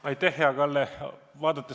Aitäh, hea Kalle!